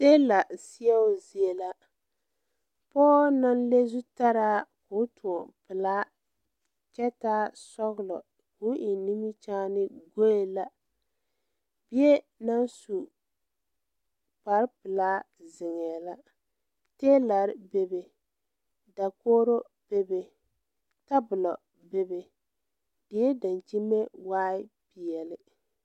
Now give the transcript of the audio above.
Tiila seɛo zie la pɔɔ naŋ le zutaraa koo tõɔ pelaa kyɛ taa sɔglɔ koo eŋ nimikyaane goe la bie naŋ su kparepelaa zeŋɛɛ la tiilare bebe dakogro bebe tabolɔ bebe die daŋkyime waai peɛle.